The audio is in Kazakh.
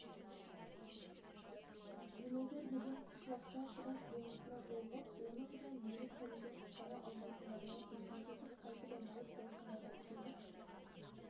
гуназар деген қышлақта құдаш болысына жолығып оның да мені пәледен құтқара алмайтындығына көзім жетіп қайтып айналып гәуханаға келіп